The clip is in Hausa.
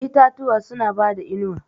Itatuwa suna bada inuwa.